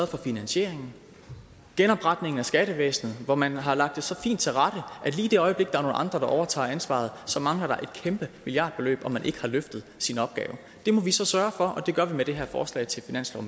for finansieringen genopretningen af skattevæsnet hvor man har lagt det så fint til rette at lige i det øjeblik der er nogle andre der overtager ansvaret så mangler der et kæmpe milliardbeløb og man har ikke løftet sin opgave det må vi så sørge for og det gør vi med det her forslag til finanslov